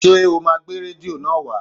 Ṣé o máa gbé rédíò náà wá?